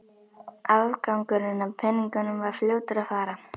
Afgangurinn af peningunum var fljótur að fara.